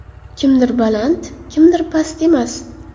Kimdir baland, kimdir past emas.